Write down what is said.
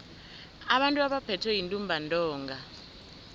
abantu abaphethwe yintumbantonga